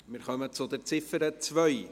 Wir kommen zur Ziffer 2.